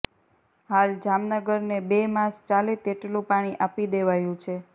હાલ જામનગરને બે માસ ચાલે તેટલું પાણી આપી દેવાયું છે